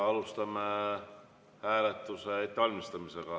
Alustame hääletuse ettevalmistamist.